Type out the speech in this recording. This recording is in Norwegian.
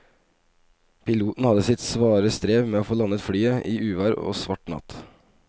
Piloten hadde sitt svare strev med å få landet flyet i uvær og svart natt.